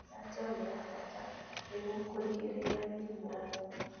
Njajo nĩyabata nĩguo kũrigĩrĩria mĩrimũ ũgwati